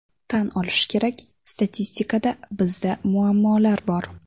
Tan olish kerak, statistikada bizda muammolar bor.